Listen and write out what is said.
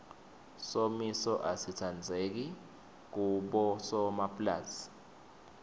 somiso asitsandzeki kubosomapulazi